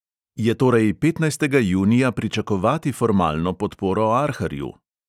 Je torej petnajstega junija pričakovati formalno podporo arharju?